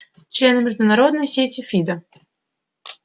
члены международной сети фидо